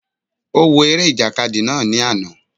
Ó wo eré ìjàkadì náà ní àná